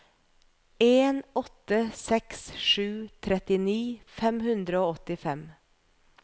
en åtte seks sju trettini fem hundre og åttifem